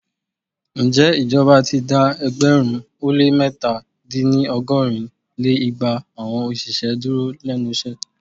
Ǹjẹ́ ìjọba ti dá ẹgbẹ̀rún ó lé mẹ́ta- dín ní ọgọ́rin lé igba awọn òṣìṣẹ́ dúró lénu iṣẹ́?